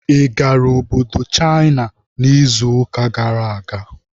Ị gara Obodo China n'izuụka gara aga?